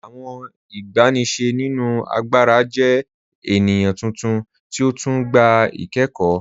Awọn igbàníṣẹ̀ nínu àgbàrà jẹ̀ ènìyàn tuntun ti ó tún gbà ikẹ̀kọ́.